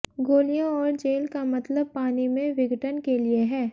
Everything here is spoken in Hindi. गोलियों और जेल का मतलब पानी में विघटन के लिए है